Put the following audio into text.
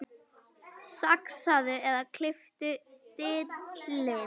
Saxaðu eða klipptu dillið.